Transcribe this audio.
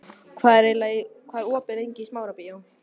Irmý, hvað er lengi opið í Smárabíói?